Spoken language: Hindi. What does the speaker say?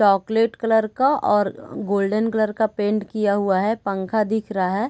चॉकलेट कलर का और गोल्डन कलर पेंट किया हुआ है पंखा दिख रहा है।